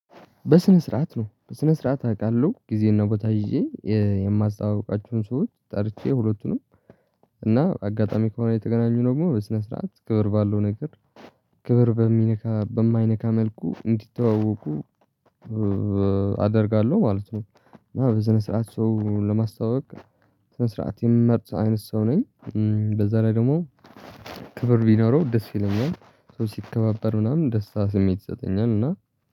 በስነ ስርዓት ነው በስነ ስርዓት አውቃለሁ ጊዜና ቦታ ይዤ የማስታውቃችሁን ሰዎች ጠርቼ ሁለቱንም እና አጋጣሚ ከሆነ የተገናኙ ደግሞ በስነ ስርዓት ክብር ባለው ነገር ክብር በሚነካ በማይነካ መልኩ እንዲተዋወቁ አደርጋለሁ ማለት ነው። እና በስነ ስርዓት ሰው ለማስታወቅ ስነ ስርዓት የምመርጥ አይነት ሰው ነኝ። በዛ ላይ ደግሞ ክብር ቢኖረው ደስ ይለኛል ሰው ሲከባበር ምናምን ደስታ ስሜት ይሰጠኛል እና